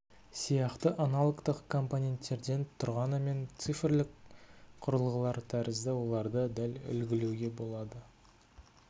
сияқты аналогтық компоненттерден тұрғанымен цифрлік құрылғылар тәрізді оларды дәл үлгілеуге болады